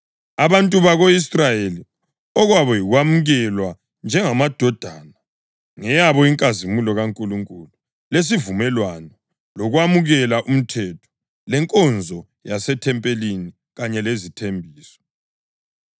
abantu bako-Israyeli. Okwabo yikwamukelwa njengamadodana, ngeyabo inkazimulo kaNkulunkulu, lesivumelwano, lokwamukela umthetho, lenkonzo yasethempelini kanye lezithembiso.